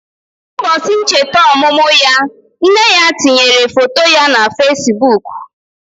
Ụbọchị ncheta ọmụmụ ya, nne ya tinyere foto ya na Fesbụụk.